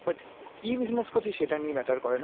কি business করছিস সেটা নিয়ে matter করে না.